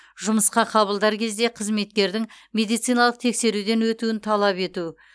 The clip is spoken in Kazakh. жұмысқа қабылдар кезде қызметкердің медициналық тексеруден өтуін талап ету